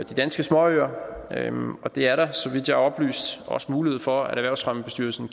de danske småøer og det er der så vidt jeg er oplyst også mulighed for erhvervsfremmebestyrelsen